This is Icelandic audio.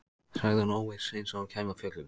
sagði hún óviss, eins og hún kæmi af fjöllum.